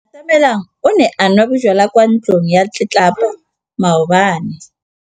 Atamelang o ne a nwa bojwala kwa ntlong ya tlelapa maobane.